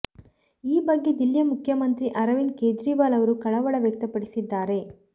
ಈ ಬಗ್ಗೆ ದಿಲ್ಲಿ ಮುಖ್ಯಮಂತ್ರಿ ಅರವಿಂದ ಕೇಜ್ರಿವಾಲ್ ಅವರು ಕಳವಳ ವ್ಯಕ್ತಪಡಿಸಿದ್ದಾರೆ